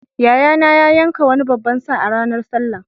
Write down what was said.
Yayana ya yanka wani babban sa a ranar sallah.